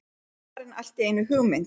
Svo fær hann allt í einu hugmynd.